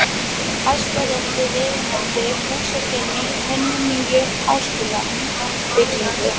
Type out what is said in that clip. Hæstarétti viðunandi húsakynni í hinni nýju háskólabyggingu.